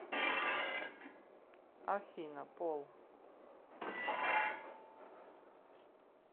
афина пол